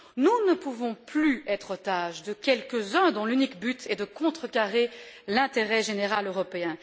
Nous ne pouvons plus être otages de quelques uns dont l'unique but est de contrecarrer l'intérêt général européen.